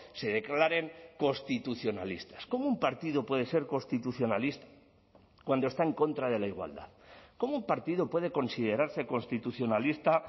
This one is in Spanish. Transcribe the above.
se declaren constitucionalistas cómo un partido puede ser constitucionalista cuando está en contra de la igualdad cómo un partido puede considerarse constitucionalista